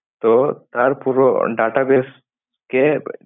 তো তার পুরো database কে